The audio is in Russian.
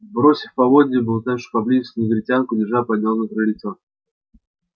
бросив поводья болтавшемуся поблизости негритянку джералд поднялся на крыльцо